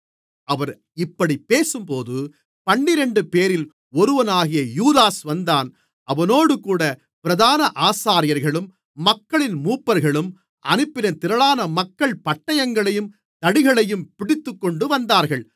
அவர் இப்படிப் பேசும்போது பன்னிரண்டுபேரில் ஒருவனாகிய யூதாஸ் வந்தான் அவனோடுகூட பிரதான ஆசாரியர்களும் மக்களின் மூப்பர்களும் அனுப்பின திரளான மக்கள் பட்டயங்களையும் தடிகளையும் பிடித்துக்கொண்டுவந்தார்கள்